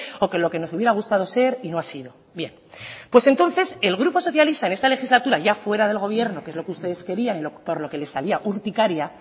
o que lo que nos hubiera gustado ser y no ha sido bien pues entonces el grupo socialista en esta legislatura ya fuera del gobierno que es lo que ustedes querían y por lo que les salía urticaria